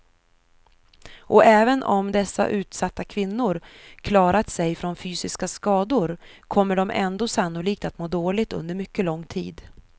Och även om dessa utsatta kvinnor klarat sig från fysiska skador kommer de ändå sannolikt att må dåligt under mycket lång tid.